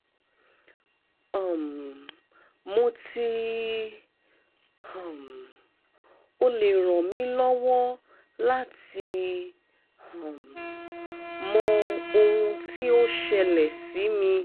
um mo ti um o le ran mi lọwọ lati um mọ ohun ti o ṣẹlẹ si mi